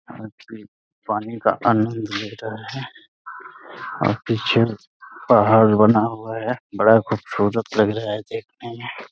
पानी का आनंद ले रहे हैं और पीछे पहाड़ बना हुआ है। बड़ा खूबसूरत लग रहा है देखने में।